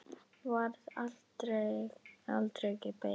Varð aldregi beygð.